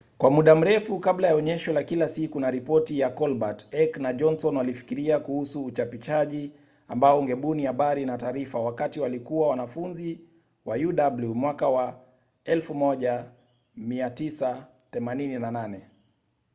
kwa muda mrefu kabla ya onyesho la kila siku na ripoti ya colbert heck na johnson walifikiria kuhusu uchapishaji ambao ungebuni habari na taarifa wakati walikua wanfunzi wa uw mwaka wa 1988